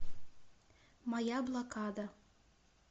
моя блокада